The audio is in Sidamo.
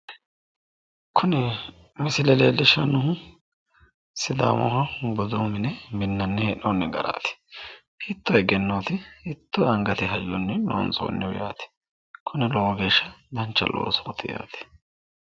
kuni misile leellishshannnohu sidaamu budu mine minnanni hee'noonni garaati hiitto egennooti hiittooangate hayyonni loonsoonni loosooti yaate kinino lowo geeshsha dancha loosooti yaate.